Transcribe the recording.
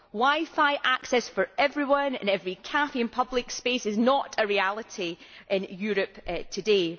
Wi Fi access for everyone in every cafe and public space is not a reality in Europe today.